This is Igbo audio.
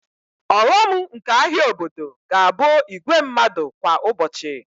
Ọghọm nke ahịa obodo ga-abụ igwe mmadụ kwa ụbọchị